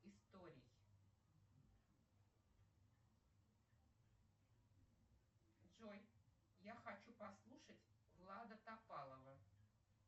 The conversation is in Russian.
историй джой я хочу послушать влада топалова